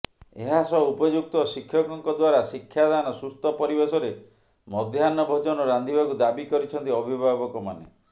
ଏହା ସହ ଉପଯୁକ୍ତ ଶିକ୍ଷକଙ୍କ ଦ୍ୱାରା ଶିକ୍ଷାଦାନ ସୁସ୍ଥ ପରିବେଶରେ ମଧ୍ୟାହ୍ନ ଭୋଜନ ରାନ୍ଧିବାକୁ ଦାବି କରିଛନ୍ତି ଅଭିଭାବକମାନେ